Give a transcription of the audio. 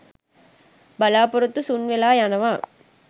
බලාපොරොත්තු සුන් වෙලා යනවා